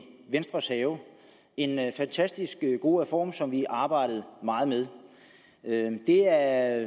venstres have en fantastisk god reform som vi arbejdede meget med det er